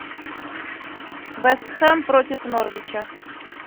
вест хэм против норвича